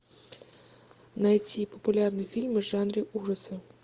найти популярные фильмы в жанре ужасы